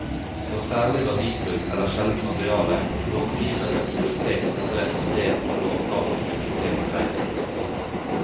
For særlig verdifullt eller sjeldent materiale kan långivende bibliotek sende rekommandert på låntakende biblioteks regning.